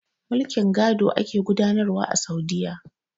Mulkin gado ake gudanar wa a Saudiyya.